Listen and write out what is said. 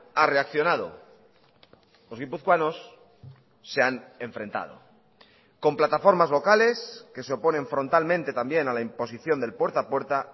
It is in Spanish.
ha reaccionado los guipuzcoanos se han enfrentado con plataformas locales que se oponen frontalmente también a la imposición del puerta a puerta